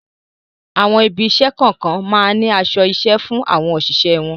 Àwọn ibi-iṣẹ́ kọ̀ọ̀kan máa ń ní aṣọ-iṣẹ́ fún àwọn òṣìṣẹ́ wọn.